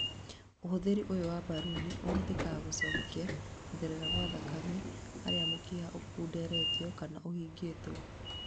ũhũthĩri ũyũ wa mbaruni ũhũthĩkaga gũcokia gũtherea gwa thakame harĩ mũkiha ũkunderetio kana ũhingĩtwo